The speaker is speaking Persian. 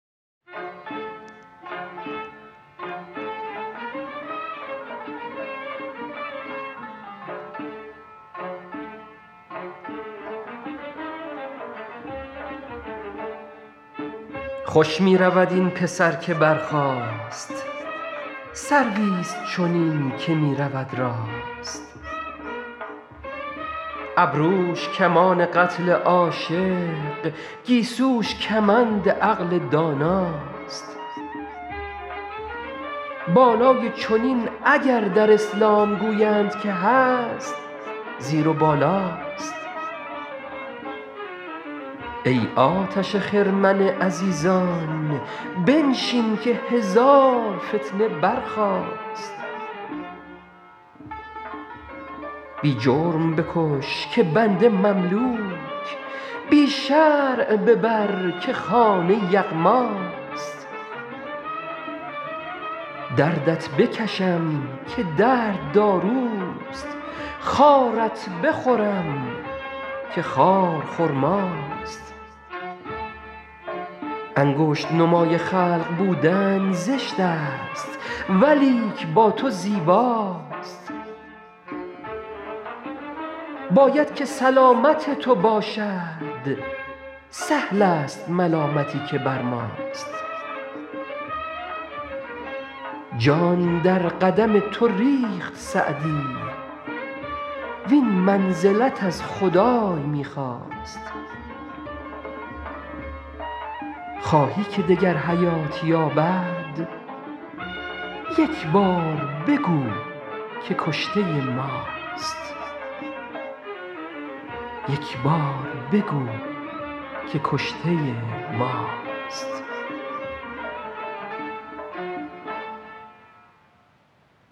خوش می رود این پسر که برخاست سرویست چنین که می رود راست ابروش کمان قتل عاشق گیسوش کمند عقل داناست بالای چنین اگر در اسلام گویند که هست زیر و بالاست ای آتش خرمن عزیزان بنشین که هزار فتنه برخاست بی جرم بکش که بنده مملوک بی شرع ببر که خانه یغماست دردت بکشم که درد داروست خارت بخورم که خار خرماست انگشت نمای خلق بودن زشت است ولیک با تو زیباست باید که سلامت تو باشد سهل است ملامتی که بر ماست جان در قدم تو ریخت سعدی وین منزلت از خدای می خواست خواهی که دگر حیات یابد یک بار بگو که کشته ماست